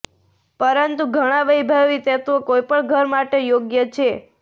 પરંતુ ઘણા વૈભવી તત્વો કોઈપણ ઘર માટે યોગ્ય છે